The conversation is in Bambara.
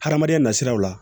Hadamadenya nasiraw la